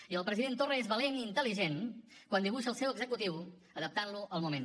i el president torra és valent i intel·ligent quan dibuixa el seu executiu adaptant lo al moment